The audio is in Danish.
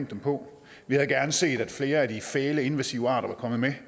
dem på vi havde gerne set at flere af de fæle invasive arter var kommet med